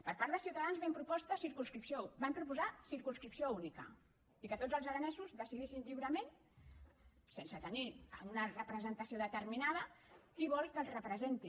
per part de ciutadans vam proposar circumscripció única i que tots els ara·nesos decidissin lliurement sense tenir una representa·ció determinada qui volen que els representi